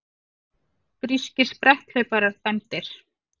Grískir spretthlauparar dæmdir